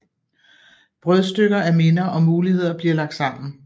Brødstykker af minder og muligheder bliver lagt sammen